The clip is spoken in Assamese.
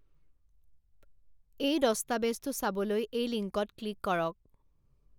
এই দষ্টাবেজটো চাবলৈ এই লিংকত ক্লিক কৰক